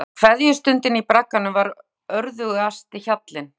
Kveðjustundin í bragganum var örðugasti hjallinn.